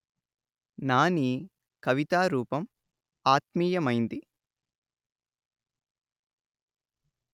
నానీ కవితారూపం ఆత్మీయమైంది